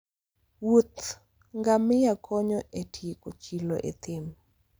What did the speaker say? wuoth ngamia konyo e tieko chilo e thim.